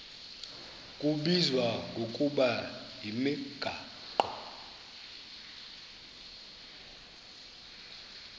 kubizwa ngokuba yimigaqo